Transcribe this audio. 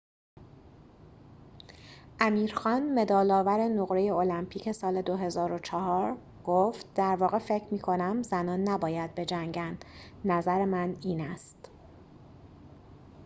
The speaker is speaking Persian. امیر خان مدال‌آور نقره المپیک سال ۲۰۰۴ گفت در واقع فکر می‌کنم زنان نباید بجنگند نظر من این است